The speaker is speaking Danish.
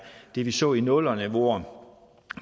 det vi så i nullerne hvor